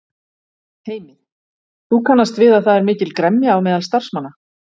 Heimir: Þú kannast við að það er mikil gremja á meðal starfsmanna?